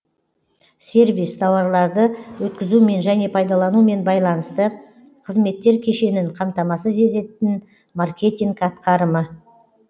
сервис тауарларды өткізумен және пайдаланумен байланысты қызметтер кешенін қамтамасыз ететін маркетинг атқарымы